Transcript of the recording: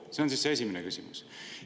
See on siis esimene küsimus.